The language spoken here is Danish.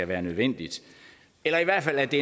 være nødvendigt eller at det